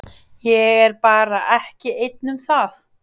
Ég er bara ekki einn um það.